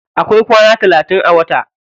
Akwai kwana talatin a wata.